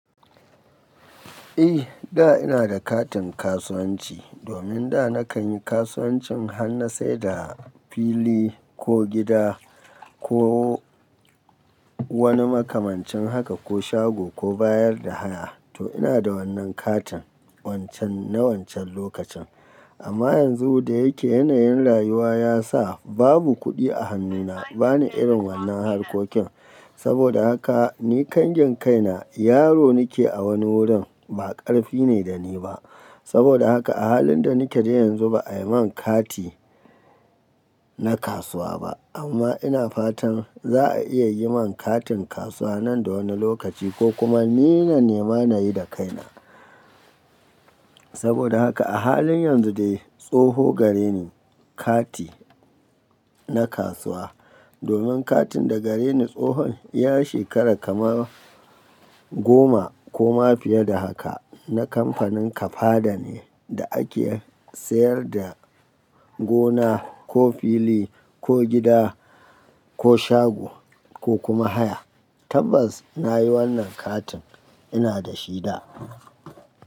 Eh, da ina da katin kasuwanci. Domin da nakan yi kasuwancin hanna sai da fili ko gida ko wani makamancin haka ko shago ko bayar da haya. To ina da wannan katin wancan na wancan lokacin. Amma yanzu da yake yanayin rayuwa ya sa babu kuɗi a hannuna, bani irin wannan harkokin. Saboda haka ni kangen kaina yaro nake a wani wurin ba ƙarfi ne da ni ba. Saboda haka a halin da nake da yanzu ba a yi min kati na kasuwa ba. Amma ina fatan za a iya yi min katin kasuwa nan da wani lokaci ko kuma ni na nema nayi da kaina. Saboda haka a halin yanzu dai tsoho gare ni kati na kasuwa. Domin katin da gare ni tsohon ya shekara kama goma ko ma fiye da haka na kamfanin Kafada ne da ake sayar da gona ko fili ko gida ko shago ko kuma haya. Tabbas nayi wannan katin ina da shi da.